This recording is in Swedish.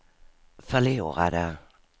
förlorade